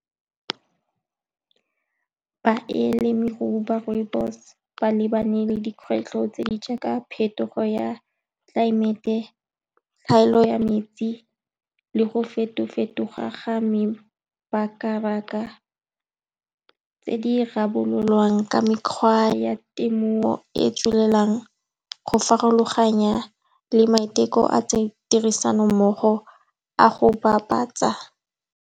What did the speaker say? Balemirui ba rooibos-e ba lebane le dikgwetlho tse di jaaka phetogo ya tlelaemete, tlhaelo ya metsi le go feto-fetoga ga mebaka-baka, tse di rarabololwang ka mekgwa ya temo e e tswelelang, go farologanya le maiteko a , tirisano mmogo a go bapatsa.